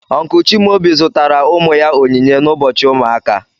Uncle Chimaobi zụtara ụmụ ya onyinye n'ụbọchị ụmụaka.